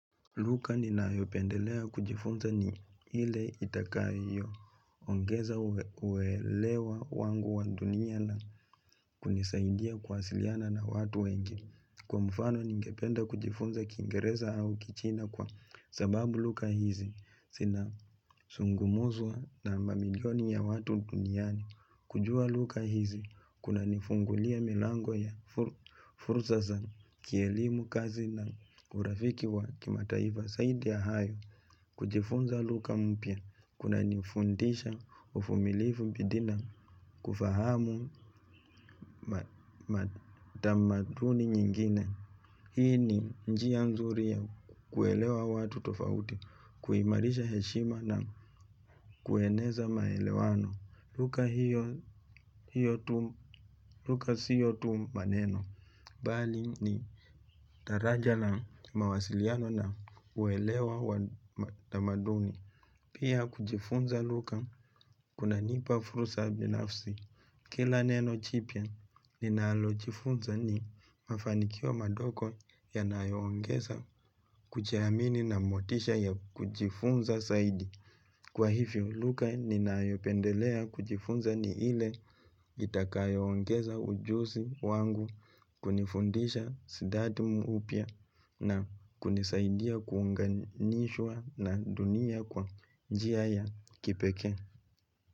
Luka ninayopendelea kujifunza ni hile itakayo, ongeza uwelewa wangu wa dunia na kunisaidia kuwasiliana na watu wengi, kwa mfano ningependa kujifunza kingereza au kichina kwa sababu luka hizi, sina sungumuzwa na mamilioni ya watu duniani. Kujua lugha hizi, kunanifungulia milango ya fursa za, kielimu kazi na urafiki wa kimataifa saidi ya hayo, kujifunza lugha mpya, kunanifundisha uvumilivu bidii na, kufahamu matamaduni nyingine. Hii ni njia mzuri ya kuelewa watu tofauti, kuimarisha heshima na kueneza maelewano, lugha hio hiyo tu, luka siyo tu maneno Bali ni taraja la mawasiliano na kuelewa wa tamaduni Pia kujifunza luka kunanipa furusa binafsi Kila neno chipia, ninalojifunza ni mafanikio madoko yanayoongeza kuchiamini na motisha ya kuchifunza saidi. Kwa hivyo, luka ninaayopendelea kujifunza ni ile itakayoongeza ujusi wangu kunifundisha sidadi upya na kunisaidia kuunganishwa na dunia kwa njia ya kipekee.